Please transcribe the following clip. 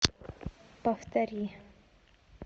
повтори